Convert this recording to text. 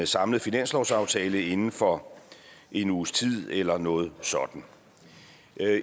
samlet finanslovsaftale inden for en uges tid eller noget sådant